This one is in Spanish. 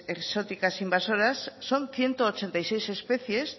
exóticas e invasoras son ciento ochenta y seis especies